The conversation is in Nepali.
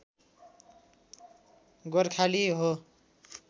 गोर्खाली हो